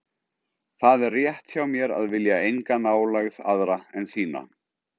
Það er rétt hjá mér að vilja enga nálægð aðra en þína.